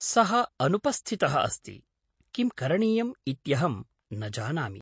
सः अनुपस्थितः अस्ति, किं करणीयम् इत्यहं न जानामि।